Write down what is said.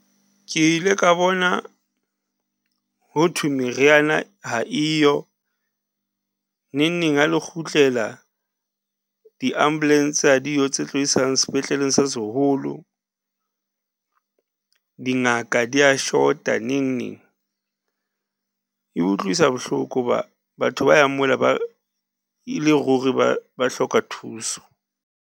Ke ile ka bona ho thwe meriana ha eyo neng neng ha le kgutlela di-ambulance ha diyo tse tlo isang sepetleleng se seholo, dingaka di a shota neng neng. E utlwisa bohloko hoba batho ba yang mola ba e le ruri ba hloka thuso.